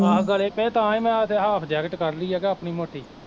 ਹੋ ਗਲੇ ਪਏ ਤਾਂਹੀਂ ਮੈਂ ਤੇ half jacket ਕੱਢਲੀ ਐ ਕਿ ਆਪਨੀ ਮੋਟੀ